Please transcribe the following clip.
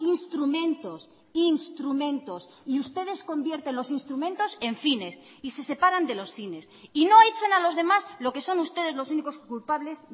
instrumentos instrumentos y ustedes convierten los instrumentos en fines y se separan de los fines y no echen a los demás lo que son ustedes los únicos culpables